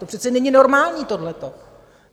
To přece není normální, tohleto.